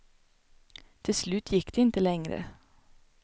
Till slut gick det inte längre.